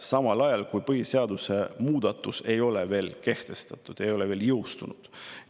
Samal ajal kui põhiseaduse muudatus ei ole veel kehtestatud, ei ole veel jõustunud.